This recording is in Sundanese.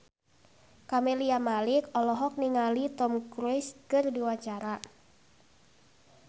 Camelia Malik olohok ningali Tom Cruise keur diwawancara